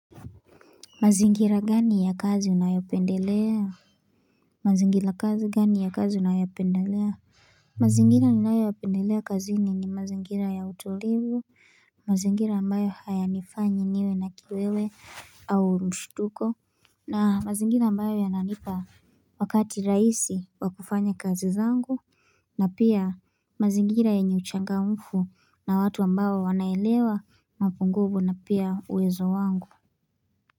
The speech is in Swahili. Mazingira gani ya kazi unayopendelea? Mazingira kazi gani ya kazi unayopendelea? Mazingira ninayopendelea kazini ni mazingira ya utulivu mazingira ambayo hayanifanyi niwe na kiwewe au mshutuko na mazingira ambayo yananipa wakati rahisi wa kufanya kazi zangu na pia mazingira yenye uchangamfu na watu ambayo wanaelewa mapungufu na pia uwezo wangu.